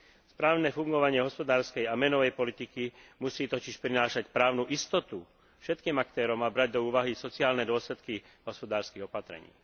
Správne fungovanie hospodárskej a menovej politiky musí totiž prinášať právnu istotu všetkým aktérom a brať do úvahy sociálne dôsledky hospodárskych opatrení.